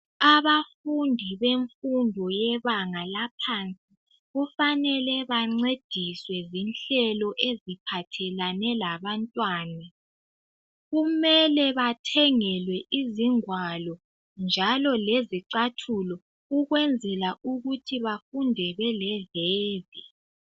Abafundi bemfundo yebanga laphansi, kufanele bancediswe zinhlelo eziphathelane labantwana. Kumele bathengelwe izingwalo njalo lezicathulo ukwenzela ukuthi bafunde beleveve.